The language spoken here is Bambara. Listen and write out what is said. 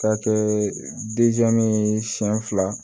K'a kɛɛ ye siɲɛ fila